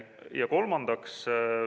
Ja kolmandaks.